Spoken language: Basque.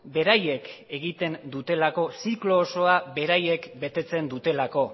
beraiek egiten dutelako ziklo osoa beraiek betetzen dutelako